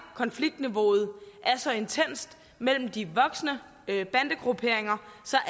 at konfliktniveauet er så intenst mellem de voksende bandegrupperinger så